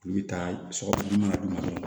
U bɛ taa sɔgɔmada d'u ma dɔrɔn